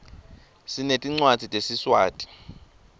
sinetncwadzi tesiswati